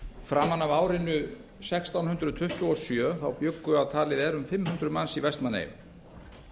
framan af árinu sextán hundruð tuttugu og sjö bjuggu að talið er um fimm hundruð manns í vestmannaeyjum